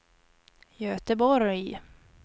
Göteborg